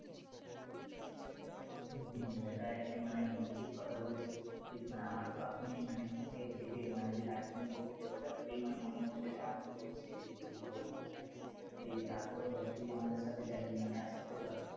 হম এটাই মানে একদম ঠিক কথা বলেছিস আমার তো মানে এখনই মানে ভেবে যে দার্জিলিং ঘুরতে যাবো এটা ভেবেই মনের মধ্যে যে আনন্দ হচ্ছে যে তোকে কি বলবো মানে আর কি এই যে তারপরেও ধর তুই আমাদের সাথে যাবি মানে একসাথে ধর